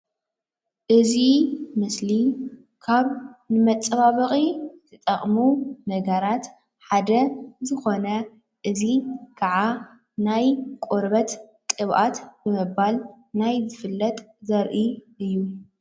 እዚ ምስሊ ካብ መፀባበቒ ዝጠቅሙ ነገራት ሓደ ዝኮነ እዚ ካዓ ናይ ቆርበት ቅብኣት ብምባል ናይ ዝፍለጥ ዘርኢ እዩ።